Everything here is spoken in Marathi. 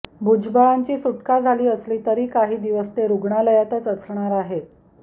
भुजबळांची सुटका झाली असली तरी काही दिवस ते रुग्णालयातच असणार आहेत